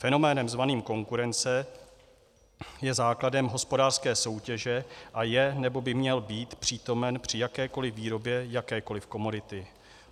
Fenomén zvaný konkurence je základem hospodářské soutěže a je, nebo by měl být, přítomen při jakékoliv výrobě jakékoliv komodity.